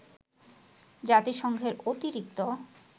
জাতিসংঘের অতিরিক্ত